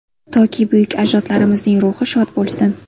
Toki, buyuk ajdodlarimizning ruhi shod bo‘lsin.